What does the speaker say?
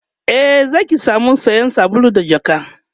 e Zaki samu sayan sabulu da jakka